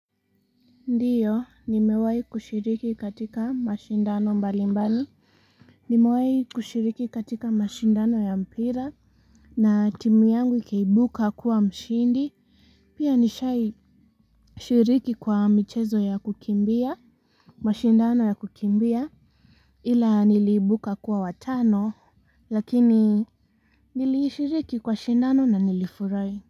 Ndiyo, nimewahi kushiriki katika mashindano mbali mbali. Nimewahi kushiriki katika mashindano ya mpira. Na timu yangu ikaibuka kuwa mshindi. Pia nishai shiriki kwa michezo ya kukimbia. Mashindano ya kukimbia. Ila niliibuka kuwa watano. Lakini nilishiriki kwa shindano na nilifurai.